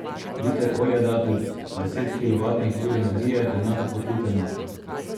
Liter olja da deset kilovatnih ur energije, enako kot liter nafte.